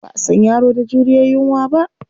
Ba a san yaro da juriyar yunwa ba.